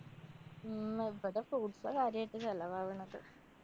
ഉം ഇവടെ fruits ആ കാര്യായിട്ട് ചെലവാവണത്.